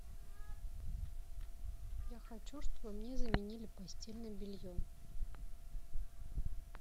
я хочу чтобы мне заменили постельное белье